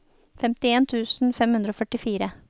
femtien tusen fem hundre og førtifire